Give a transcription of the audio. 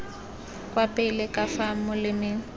kwa pele ka fa molemeng